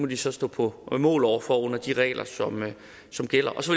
det så stå på mål over for under de regler som som gælder så